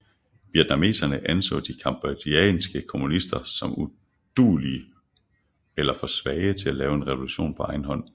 Vietnameserne anså de cambodjanske kommunister som uduelige eller for svage til at lave revolution på egen hånd